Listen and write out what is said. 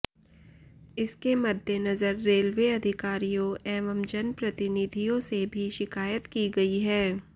इसके मद्देनजर रेलवे अधिकारियों एवं जनप्रतिनिधियों से भी शिकायत की गई है